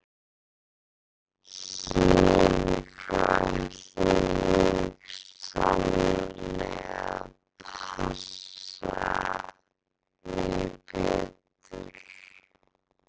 Héðan í frá ætlaði ég sannarlega að passa mig betur.